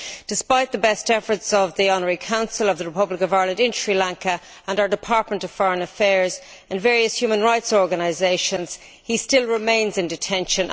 Despite the best efforts of the Honorary Consul of the Republic of Ireland in Sri Lanka and our Department of Foreign Affairs and various human rights organisations, he still remains in detention.